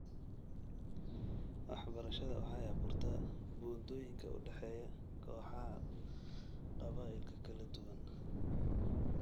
Waxbarashadu waxay abuurtaa buundooyinka u dhexeeya kooxaha qabaa'ilka kala duwan .